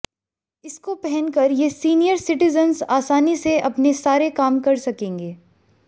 इसको पहनकर ये सीनियर सिटीजन्स आसानी से अपने सारे काम कर सकेंगे